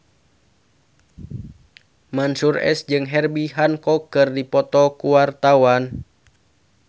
Mansyur S jeung Herbie Hancock keur dipoto ku wartawan